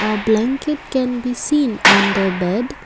a blanket can be seen on the bed.